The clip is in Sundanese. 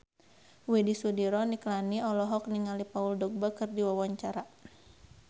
Widy Soediro Nichlany olohok ningali Paul Dogba keur diwawancara